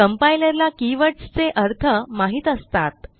compiler ला keywordsचे अर्थ माहित असतात